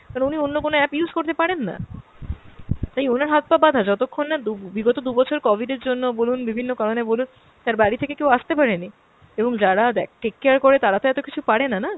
মানে উনি অন্য কোনো app use করতে পারেন না। তাই ওনার হাত-পা বাঁধা, যতক্ষণ না দু~ বিগত দু'বছর covid এর জন্য বলুন, বিভিন্ন কারণে বলুন তার বাড়ি থেকে কেও আসতে পারেনি। এবং যারা দে~ take care করে তারা তো এত কিছু পারেনা না।